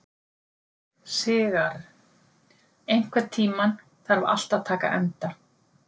Sigarr, einhvern tímann þarf allt að taka enda.